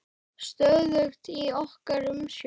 Stöðugt í okkar umsjá.